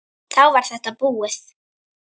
Þá var þetta búið.